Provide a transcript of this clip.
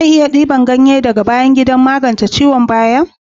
Zan iya dibar ganye daga bayan gida don magance ciwon baya na?